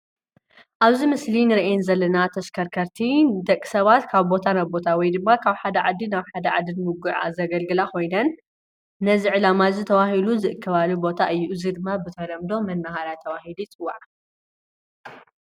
አብዚ ምስሊ እነሪኤን ዘለና ተሽከርከርቲ ንደቂ ሰባት ካብ ቦታ ናብ ቦታ ወይ ድማ ካብ ሓደ ዓዲ ናብ ሓደ ዓዲ ንሙጉዕዓዝ ዘገልግላ ኮይነን፣ ነዚ ዕላማ እዚ ተባሂለን ዝእከባሉ ቦታ እዩ፡፡ እዚ ድማ ብተለምዶ መናሃርያ ተባሂሉ ይፅዋዕ፡፡